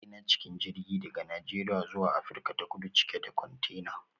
Ina cikin jirgi daga Najeriya zuwa Afirka ta Kudu cike da kwantena.